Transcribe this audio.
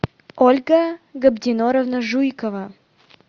ольга габдиноровна жуйкова